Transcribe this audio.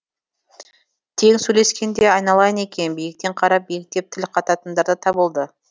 тең сөйлескен де айналайын екен биіктен қарап биіктеп тіл қататындар да табылды